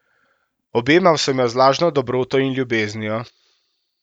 Objemal sem jo z lažno dobroto in ljubeznijo.